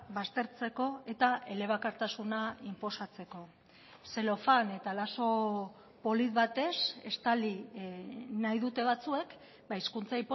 baztertzeko eta elebakartasuna inposatzeko zelofan eta lazo polit batez estali nahi dute batzuek hizkuntza